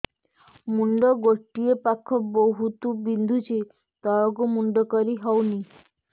ମୁଣ୍ଡ ଗୋଟିଏ ପାଖ ବହୁତୁ ବିନ୍ଧୁଛି ତଳକୁ ମୁଣ୍ଡ କରି ହଉନି